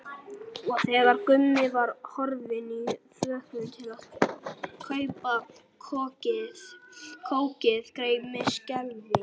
Og þegar Gummi var horfinn í þvöguna til að kaupa kókið greip mig skelfing.